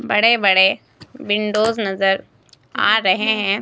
बड़े बड़े विंडोज नजर आ रहे हैं।